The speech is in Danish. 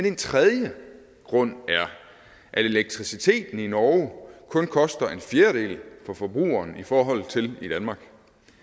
en tredje grund er at elektriciteten i norge kun koster en fjerdedel for forbrugeren i forhold til i danmark